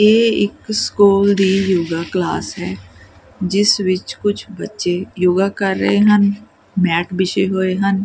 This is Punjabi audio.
ਇਹ ਇੱਕ ਸਕੂਲ ਦੀ ਯੋਗਾ ਕਲਾਸ ਹੈ ਜਿਸ ਵਿੱਚ ਕੁਝ ਬੱਚੇ ਯੋਗਾ ਕਰ ਰਹੇ ਹਨ ਮੈਟ ਬਿਛੇ ਹੋਏ ਹਨ।